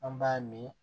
An b'a min